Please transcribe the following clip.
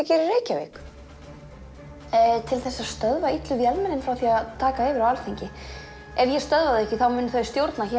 í Reykjavík til þess að stöðva illu vélmennin frá því að taka yfir á Alþingi ef ég stöðva þau ekki þá munu þau stjórna hér